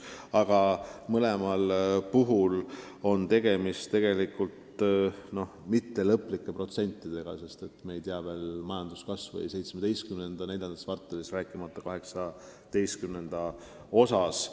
Aga kummalgi juhul pole tegemist lõplike protsentidega, sest me ei tea veel majanduskasvu 2017. aasta neljandas kvartalis, rääkimata 2018. aastast.